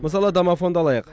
мысалы домофонды алайық